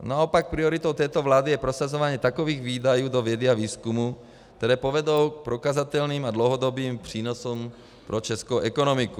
Naopak prioritou této vlády je prosazování takových výdajů do vědy a výzkumu, které povedou k prokazatelným a dlouhodobým přínosům pro českou ekonomiku.